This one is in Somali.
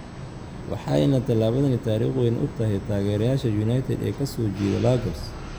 Waxayna talaabadani taariikh weyn u tahay taageerayaasha United ee ka soo jeeda Lagos.